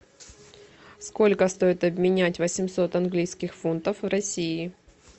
сколько стоит обменять восемьсот английских фунтов в россии